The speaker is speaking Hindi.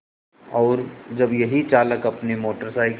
और जब यही चालक अपनी मोटर साइकिल